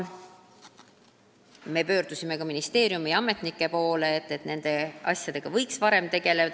Me pöördusime ka ministeeriumi ametnike poole, et nad võiks nende asjadega varem tegeleda.